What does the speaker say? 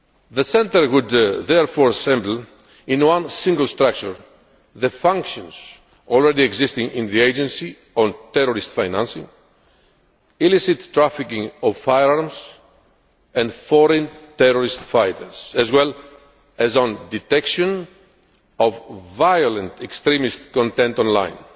The Centre would therefore assemble in one single structure the functions already existing in the Agency on terrorist financing, illicit trafficking of firearms and foreign terrorist fighters, as well as on detection of violent extremist content online.